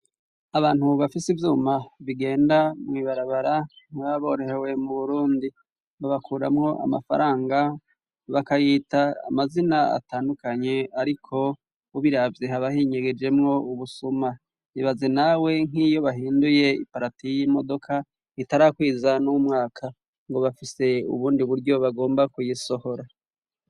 Abantu bafise ivyuma bigenda mwibarabara ntibaba borohewe mu burundi babakuramwo amafaranga bakayita amazina atandukanye ariko ubiravye haba hinyegejemwo ubusuma. Ibaze nawe nkiyo bahinduye iparati y'imodoka itarakwiza n'umwaka ngo bafise ubundi buryo bagomba kuyisohora.